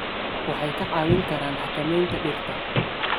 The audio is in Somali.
waxay kaa caawin karaan xakamaynta dhirta.